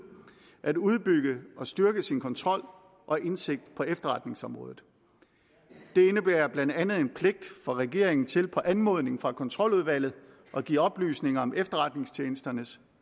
at udbygge og styrke sin kontrol og indsigt på efterretningsområdet det indebærer blandt andet en pligt for regeringen til på anmodning fra kontroludvalget at give oplysninger om efterretningstjenesternes